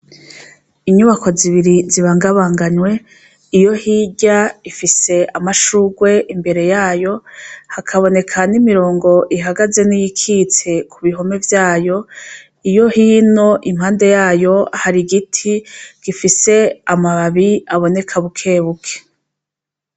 Inyubako zibiri zibangabanganywe iyohirya ifise amashurwe imbere yayo hakaboneka n'imirongo ihagaze n'iyikitse kubihome vyayo. iyohino impande yayo har'igiti gifise amababi aboneka bukebuke.